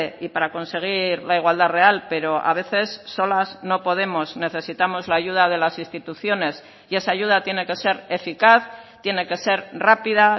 y para conseguir la igualdad real pero a veces solas no podemos necesitamos la ayuda de las instituciones y esa ayuda tiene que ser eficaz tiene que ser rápida